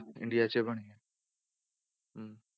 India 'ਚ ਬਣੀ ਹੈ ਹਮ